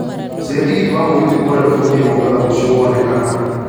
caria tigiti wa mũgithi kuũma nairobi gũthiĩ mombatha rũcio wonekana